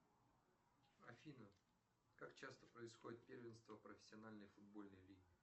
афина как часто происходит первенство профессиональной футбольной лиги